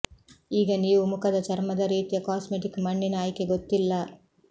ಈಗ ನೀವು ಮುಖದ ಚರ್ಮದ ರೀತಿಯ ಕಾಸ್ಮೆಟಿಕ್ ಮಣ್ಣಿನ ಆಯ್ಕೆ ಗೊತ್ತಿಲ್ಲ